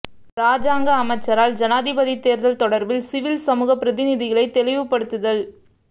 இராஜாங்க அமைச்சரால் ஜனாதிபதி தேர்தல் தொடர்பில் சிவில் சமூக பிரதிநிதிகளை தெளிவுபடுத்துல்